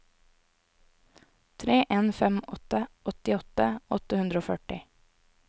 tre en fem åtte åttiåtte åtte hundre og førti